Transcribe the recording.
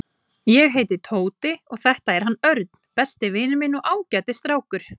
Ég heiti Tóti og þetta er hann Örn, besti vinur minn og ágætis strákur.